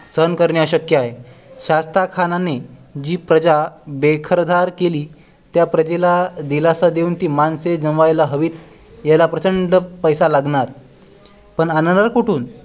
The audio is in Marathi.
सहन करणे अशक्य आहे शास्ताखानाने जी प्रजा बेघरदार केली त्या प्रजेला दिलासा देऊन ती माणसे जमायला हवीत याला प्रचंड पैसा लागणार पण आणणार कुठून